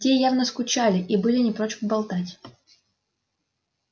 те явно скучали и были не прочь поболтать